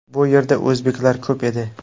Bu yerda o‘zbeklar ko‘p edi.